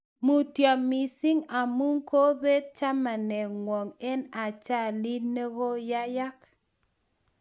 Mutyo missing amu kobet chamaningwong eng ajalit nigoyeyak